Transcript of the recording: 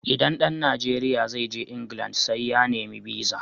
Idan ɗan Najeriya zai je England sai ya nemi biza (visa).